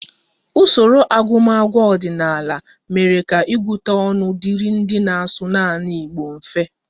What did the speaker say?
Usoro agụmagụ ọdịnala mere ka ịgụta ọnụ dịrị ndị na-asụ naanị Igbo mfe